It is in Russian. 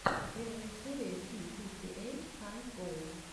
первая серия си фифти эйт каэс гоу